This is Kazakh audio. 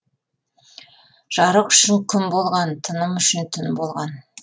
жарық үшін күн болған тыным үшін түн болған